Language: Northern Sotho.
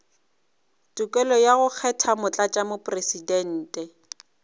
tokelo ya go kgetha motlatšamopresidente